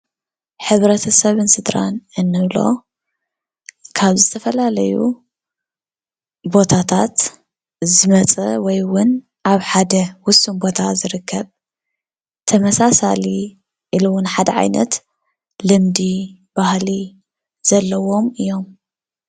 ሕብረተሰብ ስድራን እንብሎ ካብ ዝተፈላለዩ ቦታታት ዝመፀ ወይ እውን ኣብ ሓደ ውሱን ቦታ ዝርከብ ተመሳሳሊ ኢሉውን ሓደ ዓይነት ልምዲ፣ ባህሊ ዘለዎም እዮም፡፡